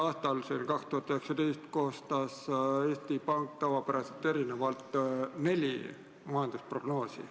Eelmisel, 2019. aastal koostas Eesti Pank tavapärasest erinevalt neli majandusprognoosi.